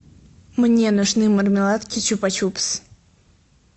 мне нужны мармеладки чупа чупс